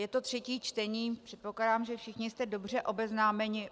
Je to třetí čtení, předpokládám, že všichni jste dobře obeznámeni.